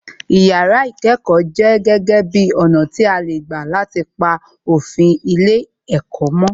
Yàrá ìkẹ́kọ̀ọ jẹ́ gege bi ọ̀nà tí a lè gbà láti pa òfin ilé ẹ̀kọ́ mó